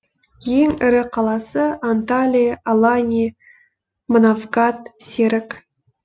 ең ірі қаласы анталия алания манавгат серік